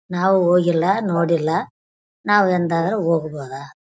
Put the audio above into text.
ನಾವು ಹೋಗಿಲ್ಲ ನೋಡಿಲ್ಲ ನಾವು ಎಂದಾದರೂ ಹೋಗಬೋದಾ.